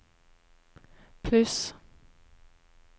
pluss